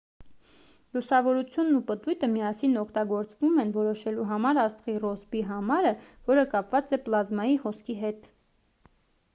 լուսավորությունն ու պտույտը միասին օգտագործվում են որոշելու համար աստղի ռոսբի համարը որը կապված է պլազմայի հոսքի հետ